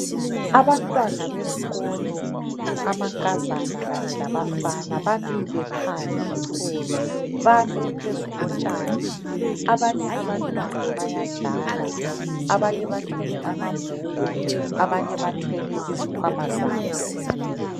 Abantwana besikolo amankazaka kanye labafana bamile phandle. Bame phezu kotshani. Abanye abantwana bayadlala Abanye bathwele ambhuku, abanye bethwele izikwama zabo.